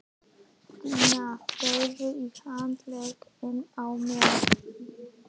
Stína þreif í handlegginn á mér.